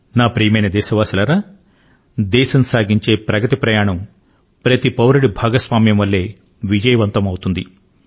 నా ప్రియమైన దేశవాసులారా దేశం సాగించే ప్రగతి ప్రయాణం ప్రతి పౌరుడి భాగస్వామ్యం వల్లే విజయవంతం అవుతుంది